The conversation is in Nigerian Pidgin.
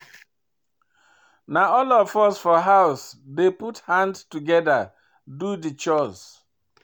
Na all of us for house dey put hand togeda do di chores.